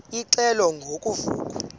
ingxelo ngo vuko